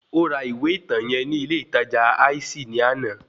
Ó ra ìwé ìtàn yẹn ní ilé ìtajà Icy ní àná